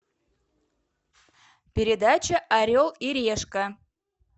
передача орел и решка